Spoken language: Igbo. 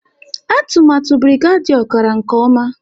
Atụmatụ Birigadiau gara nke ọma